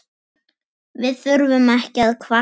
Við þurfum ekki að kvarta.